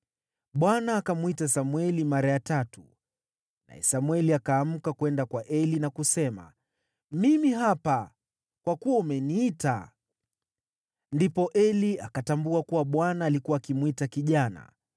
Bwana akamwita Samweli mara ya tatu, naye Samweli akaamka kwenda kwa Eli na kusema, “Mimi hapa, kwa kuwa umeniita.” Ndipo Eli akatambua kuwa Bwana alikuwa akimwita kijana.